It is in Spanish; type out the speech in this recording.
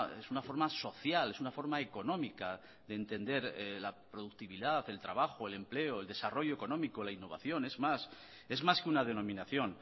es una forma social es una forma económica de entender la productividad el trabajo el empleo el desarrollo económico la innovación es más es más que una denominación